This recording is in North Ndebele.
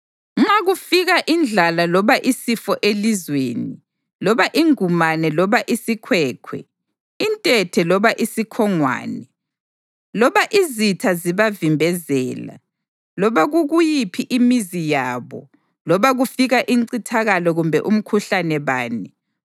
Nxa kufika indlala loba isifo elizweni, loba ingumane loba isikhwekhwe, intethe loba isikhongwane, loba izitha zibavimbezela loba kukuyiphi imizi yabo, loba kufika incithakalo kumbe umkhuhlane bani,